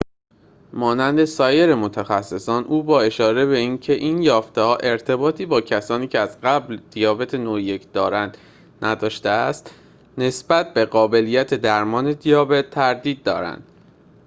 مانند سایر متخصصان او با اشاره به اینکه این یافته‌ها ارتباطی با کسانی که از قبل دیابت نوع ۱ دارند نداشته است نسبت به قابلیت درمان دیابت تردید دارد